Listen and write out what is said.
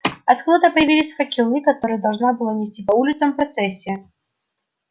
откуда-то появились факелы которые должна была нести по улицам процессия